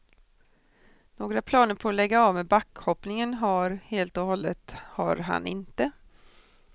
Några planer på att lägga av med backhoppningen har helt och hållet har han inte.